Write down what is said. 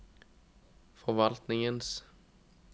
forvaltningens